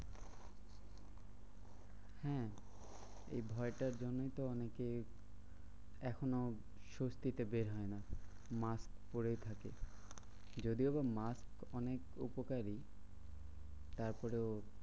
হম এই ভয়টার জন্যই তো অনেকে এখনো স্বস্তিতে বের হয় না mask পরেই থাকে। যদিও বা mask অনেক উপকারী তারপরেও